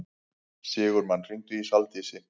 Sigurmann, hringdu í Saldísi.